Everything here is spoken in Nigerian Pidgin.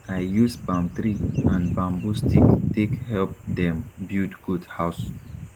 i use palm tree and bambu stick take help dem build goat house